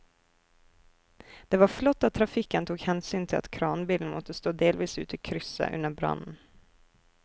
Det var flott at trafikken tok hensyn til at kranbilen måtte stå delvis ute i krysset under brannen.